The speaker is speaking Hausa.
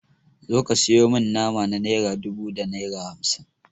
Zo ka sayo mani nama na naira dubu da naira hamsin.